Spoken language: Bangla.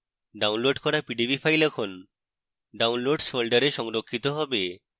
downloads করা pdb file এখন downloads folder সংরক্ষিত হবে